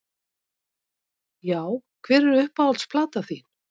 Já Hver er uppáhalds platan þín?